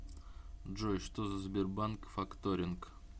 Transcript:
джой что за сбербанк факторинг